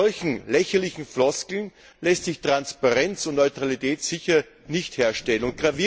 Mit solchen lächerlichen Floskeln lassen sich Transparenz und Neutralität sicher nicht herstellen.